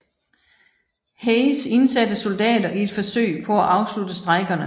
Hayes indsatte soldater i et forsøg på at afslutte strejkerne